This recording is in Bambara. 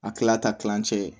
A kila ta kilancɛ